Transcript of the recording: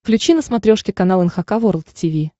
включи на смотрешке канал эн эйч кей волд ти ви